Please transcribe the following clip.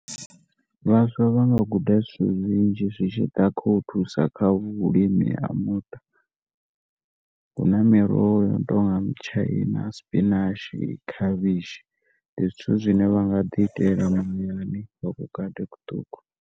Vhaswa vha nga guda zwithu zwinzhi zwi tshi ḓa khau thusa kha vhulimi ha muṱa huna miroho yono tonga mitshaina spinach khavhishi, ndi zwithu zwine vha nga di itela vhukati hu ṱuku.